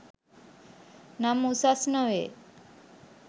නම් උසස් නොවේ